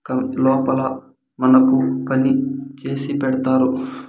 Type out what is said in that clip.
కం-- లోపల మనకు పని చేసి పెడతారు .